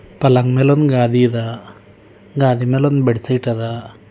ಪಲಂಗ್ ಮ್ಯಾಲ್ ಒಂದ್ ಗಾದಿ ಅದ ಗಾದಿ ಮ್ಯಾಲ್ ಒಂದ್ ಬೆಡ್ ಶೀಟ್ ಅದ.